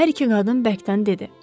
Hər iki qadın bərkdən dedi.